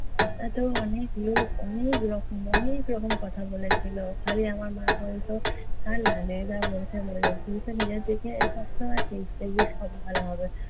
এতো অনেক লোক অনেক রকম, অনেক রকম কথা বলেছিলো। খালি আমার মা বলতো, ছাড় না যে যা বলছে বলুক। তুই খালি নিজের দিকে সবসময় ঠিক থাকিস, দেখবি সব ভালো হবে।